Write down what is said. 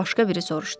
Başqa biri soruşdu.